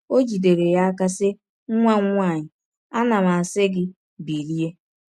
O jidere ya n’aka sị: Nwa m nwanyị, ana m asị gị, Bilie!